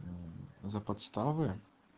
мм за подставы